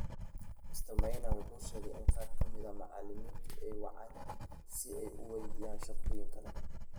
Mr. Maina wuxuu sheegay in qaar ka mid ah macallimiintu ay wacaan si ay u waydiiyaan shaqooyin kale.